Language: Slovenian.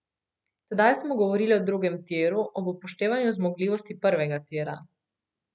Tedaj smo govorili o drugem tiru ob upoštevanju zmogljivosti prvega tira.